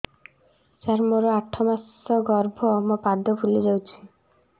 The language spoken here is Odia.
ସାର ମୋର ଆଠ ମାସ ଗର୍ଭ ମୋ ପାଦ ଫୁଲିଯାଉଛି